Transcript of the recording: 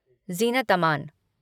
Zeenat Aman